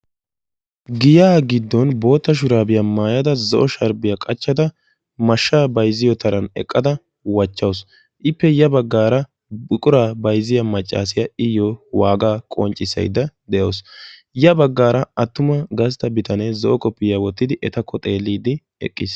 giyaa giddon bootta shuraabiya mayyada zo'o sharbbiya qachchada mashshaa bayizziyo taran eqqada wachchawusu. ippe ya baggaara buquraa bayizziya maccaasiya iyyo waagaa qonccissayidda de'awusu. ya baggaara attuma gastta bitane zo'o koppiya wottidi etakko xeelliiddi eqqis.